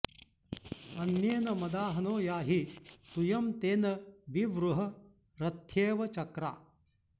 अ॒न्येन॒ मदा॑हनो याहि॒ तूयं॒ तेन॒ वि वृ॑ह॒ रथ्ये॑व च॒क्रा